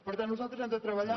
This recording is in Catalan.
per tant nosaltres hem de treballar